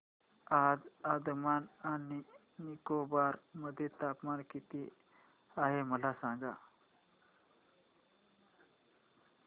आज अंदमान आणि निकोबार मध्ये तापमान किती आहे मला सांगा